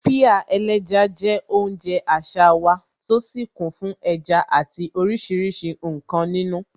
Pie ẹlẹ́ja je oúnjẹ àṣà wa, tó sì kún fún ẹja àti oríṣiríṣi nkan nínú.